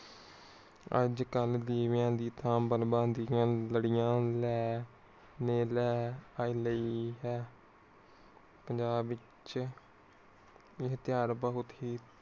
ਅੱਜਕਲ ਦਿਵੇਆਂ ਦੀ ਥਾਂ ਬਣਵਾ ਦੀਆਂ ਲੜੀਆਂ ਲ ਹੈ। ਪੰਜਾਬ ਵਿਚ ਇਹ ਤਿਯੋਹਾਰ ਬਹੁਤ ਹੀ